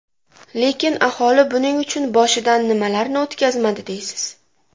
Lekin aholi buning uchun boshidan nimalarni o‘tkazmadi deysiz.